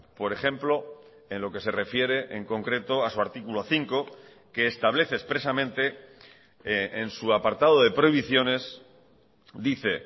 por ejemplo en lo que se refiere en concreto a su artículo cinco que establece expresamente en su apartado de prohibiciones dice